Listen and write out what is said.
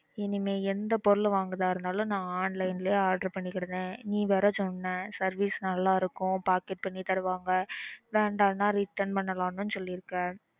இனிமே எந்த பொருள் வாங்கறதா இருந்தாலும் நான் online லயே order பண்ணிகிடுதேன். நீ வேற சொன்ன service நல்லா இருக்கும். Pocket பண்ணி தருவாங்க. வேண்டாம்னா return பண்ணலாம்ன்னு சொல்லிருக்க.